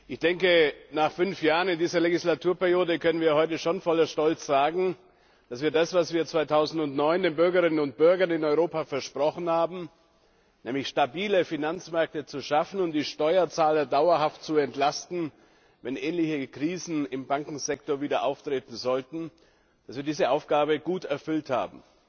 Ich denke, nach fünf Jahren in dieser Legislaturperiode können wir heute schon voller Stolz sagen, dass wir das, was wir 2009 den Bürgerinnen und Bürgern in Europa versprochen haben, nämlich stabile Finanzmärkte zu schaffen und die Steuerzahler dauerhaft zu entlasten, wenn ähnliche Krisen im Bankensektor wieder auftreten sollten, dass wir diese Aufgabe gut erfüllt haben.